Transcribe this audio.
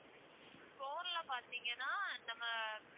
core ல பாத்தீங்கன்னா நம்ம